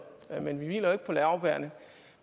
men vi hviler jo ikke på laurbærrene